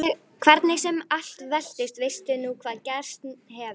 Hvernig sem allt veltist veistu nú hvað gerst hefur.